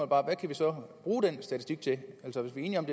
bare hvad kan vi så bruge den statistik til at